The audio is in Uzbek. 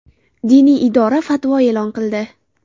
Diniy idora fatvo e’lon qildi .